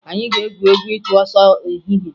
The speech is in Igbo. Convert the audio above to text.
Anyị ga-egwu egwu ịchụ ọsọ n'ehihie